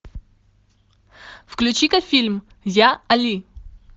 включи ка фильм я али